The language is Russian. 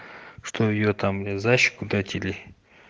что её там мне за щеку дать или